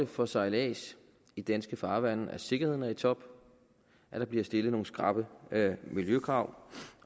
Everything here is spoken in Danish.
for sejlads i danske farvande at sikkerheden er i top at der bliver stillet nogle skrappe miljøkrav